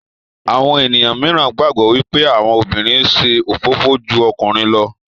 Àwọn ènìyàn míràn gbagbọ wipe àwọn obìrin ṣe òfófó jù ọkùnrin ló